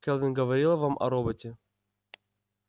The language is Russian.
кэлвин говорила вам о роботе